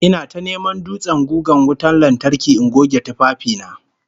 Ina ta neman dutsen gugan wutan lantarki in goge tufafi na